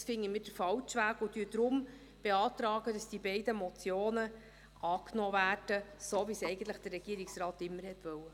Dies finden wir den falschen Weg und beantragen deshalb, dass diese beiden Motionen angenommen werden – so, wie es der Regierungsrat eigentlich immer wollte.